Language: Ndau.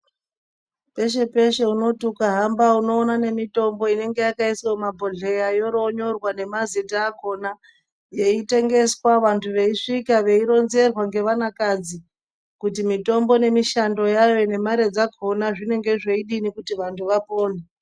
Peshe peshe ukahamba inoona nemitombo inenge yakaiswa mumabhodhleya yoronyorwa nemazita akona yaitemgeswa vantu vaisvika vaironzerwa ngevanakadzi kuti mitombo nemishando yayo nemare dzakona zvinenge zvaidini kuti vantu vawone.